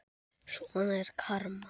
Svona er karma.